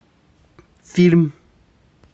фильм